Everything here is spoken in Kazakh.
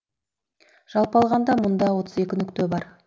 жалпы алғанда мұндай отыз екі нүкте бар